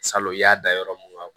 Salon i y'a da yɔrɔ mun